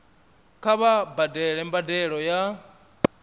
kha vha badele mbadelo ya